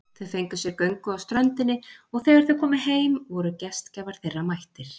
Þau fengu sér göngu á ströndinni og þegar þau komu heim voru gestgjafar þeirra mættir.